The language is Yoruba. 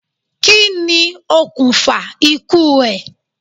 Kí ni okùnfà ikú ẹ̀?